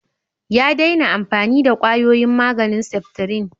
Ya daina amfani da kwayoyin maganin septrin.